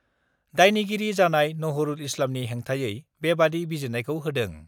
दायनिगिरि जानाय नहरुल इस्लामनि हेंथायै बेबादि बिजिरनायखौ होदों।